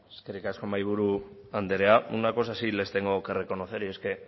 eskerrik asko mahaiburu andrea una sí les tengo que reconocer y es que